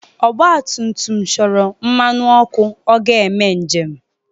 ọgbatumtum chọrọ mmanụ ọkụ i ga njem